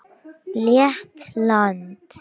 Lettland